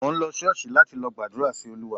Mò ń lọ Ṣọ́ọ̀ṣì láti lọ gbàdúrà sí Olúwa